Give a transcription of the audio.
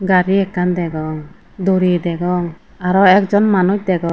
chabi ekkan degong duri degong arow ek jon manuch degong.